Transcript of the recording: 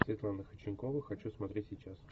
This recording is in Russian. светлана ходченкова хочу смотреть сейчас